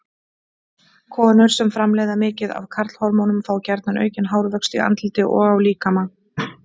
Konur sem framleiða mikið af karlhormónum fá gjarna aukinn hárvöxt í andliti og á líkama.